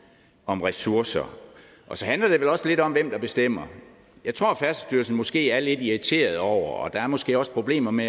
om ressourcer og så handler det vel også lidt om hvem der bestemmer jeg tror at færdselsstyrelsen måske er lidt irriteret over det og der er måske også problemer med